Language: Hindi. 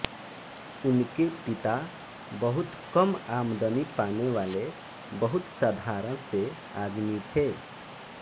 उनके पिता बहुत कम आमदनी पाने वाले बहुत साधारण से आदमी थे